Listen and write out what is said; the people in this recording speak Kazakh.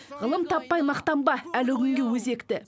ғылым таппай мақтанба әлі күнге өзекті